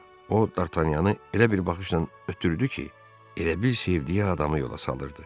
O D'Artagnanı elə bir baxışla ötdürdü ki, elə bil sevdiyi adamı yola salırdı.